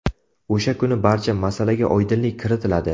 O‘sha kuni barcha masalaga oydinlik kiritiladi.